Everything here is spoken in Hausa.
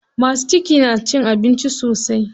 Masu ciki na cin abinci sosai.